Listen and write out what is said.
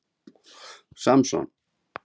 Samson